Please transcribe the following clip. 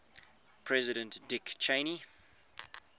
president dick cheney